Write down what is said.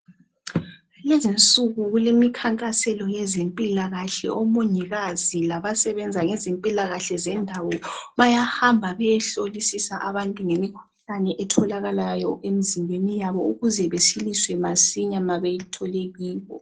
Kulezinsuku kulemikhankaso yezempilakahle. Omongikazi labasebenza ngezempilakahle zendawo bayahamba beyehlolisisa abantu ngemikhuhlane etholakalayo emzimbeni yabo ukuze besiliswe masinya mabeyithole kibo.